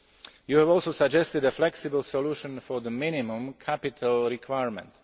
You have also suggested a flexible solution for the minimum capital requirement.